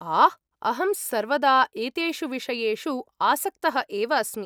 आह्, अहं सर्वदा एतेषु विषयेषु आसक्तः एव अस्मि।